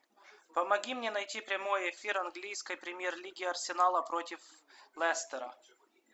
помоги мне найти прямой эфир английской премьер лиги арсенала против лестера